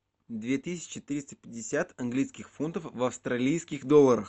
две тысячи триста пятьдесят английских фунтов в австралийских долларах